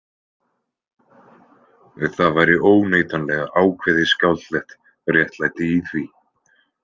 Það væri óneitanlega ákveðið skáldlegt réttlæti í því.